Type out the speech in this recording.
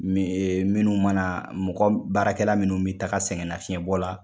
minnu mana mɔgɔ baarakɛla minnu bɛ taga sɛgɛn nafiyɛnbɔ la.